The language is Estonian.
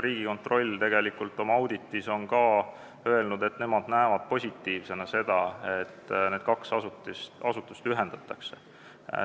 Riigikontroll on oma auditis ka öelnud, et nemad näevad positiivsena seda, et need kaks asutust ühendatakse.